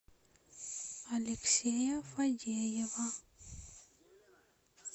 алексея фадеева